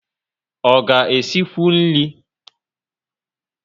O ga esikwu nri?